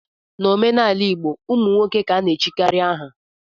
N'omenala igbo ụmụ nwoke ka ana-echikarị aha